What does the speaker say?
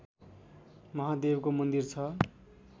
महादेवको मन्दिर छ